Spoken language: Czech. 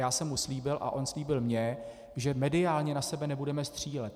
Já jsem mu slíbil a on slíbil mně, že mediálně na sebe nebudeme střílet.